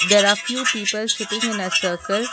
There are few people sitting in a circle.